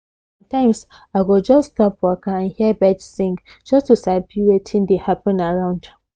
sometimes i go just stop waka and hear birds sing just to sabi wetin dey happen around